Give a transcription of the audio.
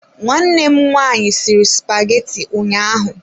Nwanne m nwaanyị sịrị spageti ụnyaahụ.